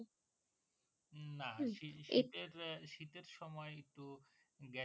না সেই শীতের শীতের সময় একটু